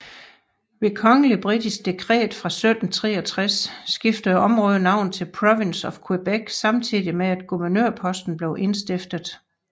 Ved kongeligt britisk dekret fra 1763 skiftede området navn til Province of Quebec samtidig med at guvernørposten blev indstiftet